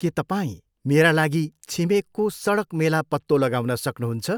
के तपाईँ मेरा लागि छिमेकको सडक मेला पत्तो लगाउन सक्नुहुन्छ?